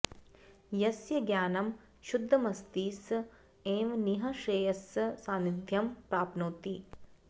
यस्य ज्ञानं शुद्धमस्ति स एव निः श्रेयसः सान्निध्यं प्राप्नोति